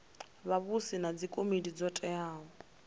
vhavhusi na dzikomiti dzo teaho